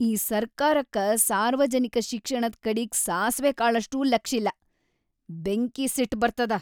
ಈ ಸರ್ಕಾರಕ್ಕ ಸಾರ್ವಜನಿಕ ಶಿಕ್ಷಣದ್‌ ಕಡಿಗ್ ಸಾಸ್ವೆ ಕಾಳಷ್ಟೂ ಲಕ್ಷಿಲ್ಲ, ಬೆಂಕಿ‌ ಸಿಟ್‌ ಬರ್ತದ.